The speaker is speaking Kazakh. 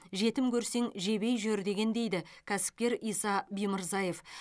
жетім көрсең жебей жүр деген дейді кәсіпкер иса бимырзаев